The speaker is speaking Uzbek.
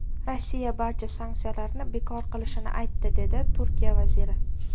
Rossiya barcha sanksiyalarni bekor qilishini aytdi”, dedi Turkiya vaziri.